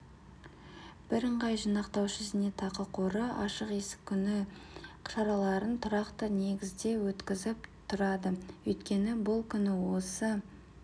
бірыңғай жинақтаушы зейнетақы қоры ашық есік күні шараларын тұрақты негізде өткізіп тұрады өйткені бұл күні осы